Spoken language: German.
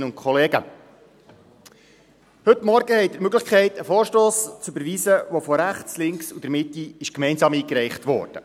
Heute Morgen haben Sie die Möglichkeit, einen Vorstoss zu überweisen, der von rechts, von links und von der Mitte gemeinsam eingereicht wurde.